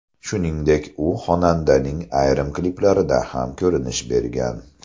Shuningdek, u xonandaning ayrim kliplarida ham ko‘rinish bergan.